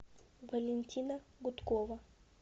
валентина гудкова